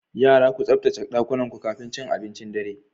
Yara, ku tsaftace ɗakunanku kafin cin abincin dare.